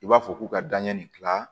I b'a fɔ k'u ka danɲɛ nin kila